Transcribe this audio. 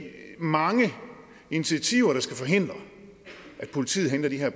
mange initiativer der skal forhindre at politiet henter de her